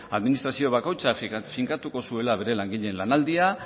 administrazio bakoitza finkatuko zuela bere langileen lanaldia